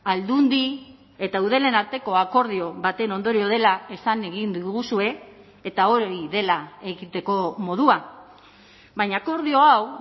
aldundi eta eudelen arteko akordio baten ondorio dela esan egin diguzue eta hori dela egiteko modua baina akordio hau